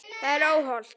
Það er óhollt.